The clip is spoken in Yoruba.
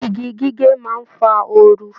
Igi gige má ń fa oru